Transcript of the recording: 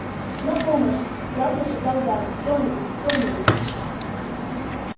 на помощь страстно шептал гарри кто-нибудь кто-нибудь